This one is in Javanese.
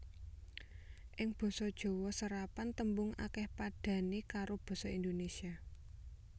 Ing basa Jawa serapan tembung akèh padhané karo Basa Indonesia